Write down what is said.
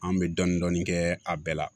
An bɛ dɔɔnin dɔɔnin kɛ a bɛɛ la